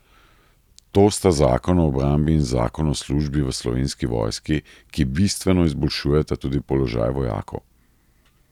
To sta zakon o obrambi in zakon o službi v slovenski vojski, ki bistveno izboljšujeta tudi položaj vojakov.